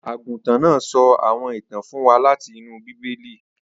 Aguntan naa sọ awọn itan fun wa lati inu Bibeli